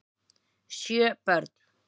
Sjö börn